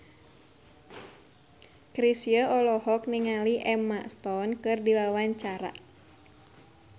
Chrisye olohok ningali Emma Stone keur diwawancara